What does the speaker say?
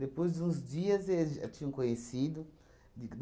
Depois de uns dias, ele já tinha um conhecido de